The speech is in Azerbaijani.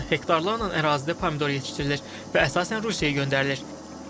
Hektarlarla ərazidə pomidor yetişdirilir və əsasən Rusiyaya göndərilir.